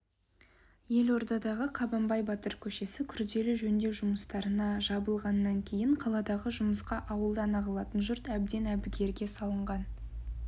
елордадағы қабанбай көшесі күрделі жөндеу жұмыстарына жабылғаннан кейін қаладағы жұмысқа ауылдан ағылатын жұрт әбден әбігерге салынған